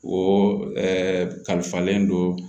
O ɛɛ kalifalen don